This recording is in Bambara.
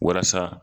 Walasa